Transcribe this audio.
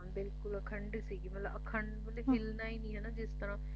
ਹਾਂ ਬਿਲਕੁਲ ਅਖੰਡ ਸੀ ਮਤਲਬ ਅਖੰਡ ਮਤਲਬ ਹਿੱਲਣਾ ਹੀ ਨੀ ਆ ਜਿਸ ਤਰਾਂ